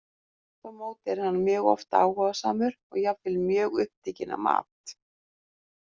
Þvert á móti er hann mjög oft áhugasamur og jafnvel mjög upptekinn af mat.